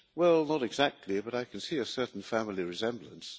Well, not exactly, but I can see a certain family resemblance.